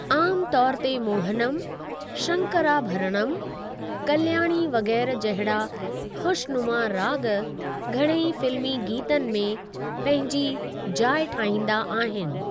आम तौर ते मोहनम, शंकराभरणम, कल्याणी वग़ैरह जहिड़ा खु़शनुमा राॻु घणेई फ़िल्मी गीतनि में पंहिंजी जाइ ठाईंदा आहिनि .।